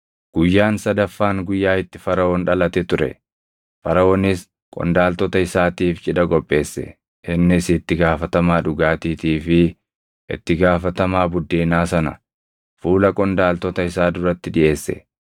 Guyyaan sadaffaan guyyaa itti Faraʼoon dhalate ture; Faraʼoonis qondaaltota isaatiif cidha qopheesse. Innis itti gaafatamaa dhugaatiitii fi itti gaafatamaa buddeenaa sana fuula qondaaltota isaa duratti dhiʼeesse: